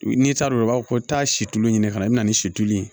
N'i t'a dɔn i b'a fɔ ko taa situlu ɲini ka na i bɛna ni si tulu ye